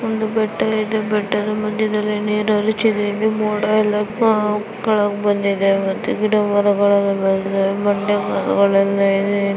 ಒಂದು ಬೆಟ್ಟ ಇದೆ ಬೆಟ್ಟದ ಮದ್ಯದಲ್ಲಿ ನೀರು ಹರಿತಿದೆ ಇಲ್ಲಿ ಮೋಡ ಎಲ್ಲ ಕೆಳಗ್ ಬಂದಿದೆ ಮತ್ತು ಗಿಡ ಮರಗಲ್ಲೇಲ ಇದೆ ಬಂದೆ ಮೇಲ್ಗಡೆ ಇದೆ --